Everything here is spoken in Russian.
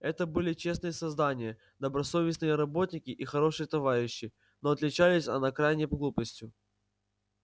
это были честные создания добросовестные работники и хорошие товарищи но отличались она крайней глупостью